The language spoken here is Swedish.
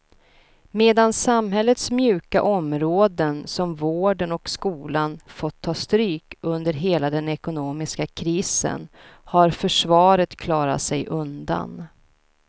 Medan samhällets mjuka områden som vården och skolan fått ta stryk under hela den ekonomiska krisen har försvaret klarat sig undan.